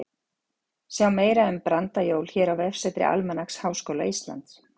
Sjá meira um brandajól hér á vefsetri Almanaks Háskóla Íslands.